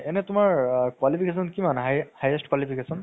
এনে তুমাৰ qualification কিমান highest qualification